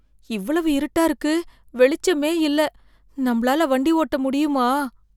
இவ்வளவு இருட்டா இருக்கு வெளிச்சமே இல்ல நம்மளால வண்டி ஓட்ட முடியுமா!